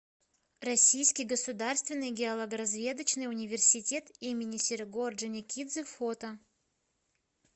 российский государственный геологоразведочный университет имени серго орджоникидзе фото